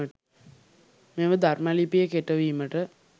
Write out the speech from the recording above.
මෙම ධර්ම ලිපිය කෙටවීමට